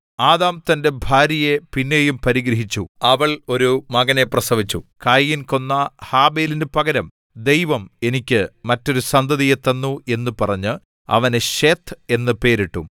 Adam തന്റെ ഭാര്യയെ പിന്നെയും പരിഗ്രഹിച്ചു അവൾ ഒരു മകനെ പ്രസവിച്ചു കയീൻ കൊന്ന ഹാബെലിനു പകരം ദൈവം എനിക്ക് മറ്റൊരു സന്തതിയെ തന്നു എന്നു പറഞ്ഞ് അവന് ശേത്ത് എന്നു പേരിട്ടു